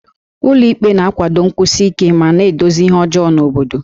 Ụlọ ikpe na-akwado nkwụsi ike ma na-edozi ihe ọjọọ n'obodo